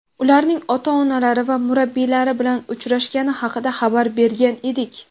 ularning ota-onalari va murabbiylari bilan uchrashgani haqida xabar bergan edik.